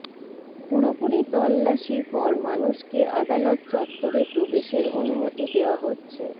পুরোপুরি তল্লাশির পর মানুষকে আদালত চত্বরে প্রবেশের অনুমতি দেওয়া হচ্ছে